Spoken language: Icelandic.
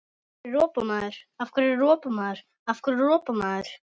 Af hverju ropar maður?